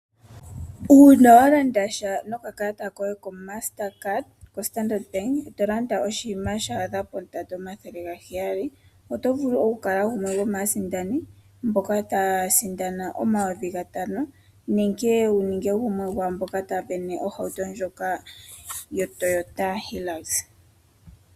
Una walandasha noka kalata koye ko Master card koStandard bank tolanda oshinima sha adha pondando yo 700 oto vulu oku kala gumwe gomasindani mboka taya sindana 5000 nenge gumwe gomwamboka taya sindana ohauto ndjoka yo Toyota Hilux.